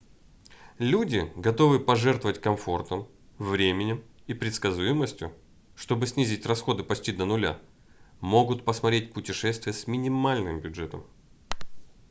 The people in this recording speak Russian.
люди готовые пожертвовать комфортом временем и предсказуемостью чтобы снизить расходы почти до нуля могут посмотреть путешествия с минимальным бюджетом